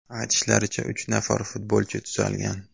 Aytishlaricha, uch nafar futbolchi tuzalgan.